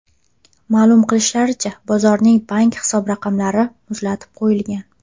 Ma’lum qilishlaricha, bozorning bank hisob-raqamlari muzlatib qo‘yilgan.